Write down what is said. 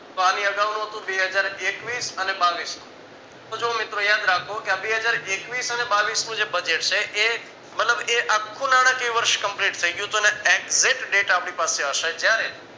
તો આની અગાવનું હતું બે હજાર એકવીશ અને બાવીશ નું તો જો મિત્રો યાદ રાખો બે હજાર એકવીશ અને બાવીશનું જે budget છે એ મતલબ એ આખું નાણાકીય વર્ષ complete થઈ ગયું તું ને exzact date આપણે પાસે હશે જયારે